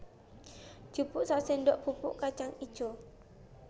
Jupuk saséndok bubuk kacang ijo